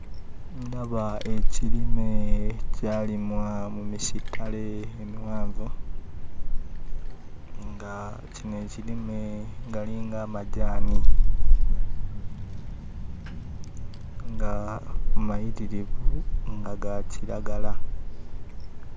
Ndaba ekirime ekyalimwa mu misittale emiwanvu, nga kino ekirime galinga amajaani nga mayitirivu, nga ga kiragala.